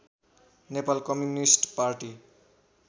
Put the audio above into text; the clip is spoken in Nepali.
Nepal Communist party